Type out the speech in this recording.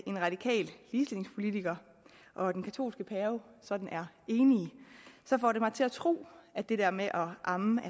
en radikal ligestillingspolitiker og den katolske pave sådan er enige så får det mig til at tro at det der med at amme